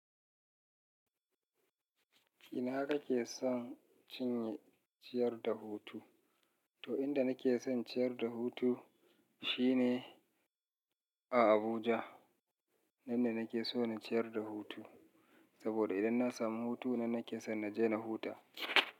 Ina ka ke son cinye ciyar da hutu? To, inda nake son ciyar da hutu shine a Abuja. Nan ne nake so na ciyar da hutu saboda idan na samu hutu nan nake so na je na huta.